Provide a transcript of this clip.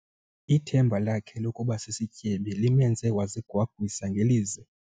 Ithemba lakhe lokuba sisityebi limenze wazigwagwisa ngelize.